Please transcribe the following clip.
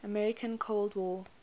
american cold war